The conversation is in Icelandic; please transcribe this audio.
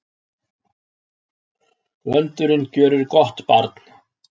Vöndurinn gjörir gott barn.